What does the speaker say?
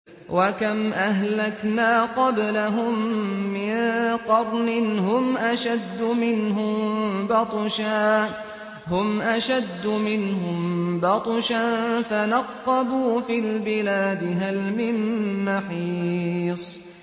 وَكَمْ أَهْلَكْنَا قَبْلَهُم مِّن قَرْنٍ هُمْ أَشَدُّ مِنْهُم بَطْشًا فَنَقَّبُوا فِي الْبِلَادِ هَلْ مِن مَّحِيصٍ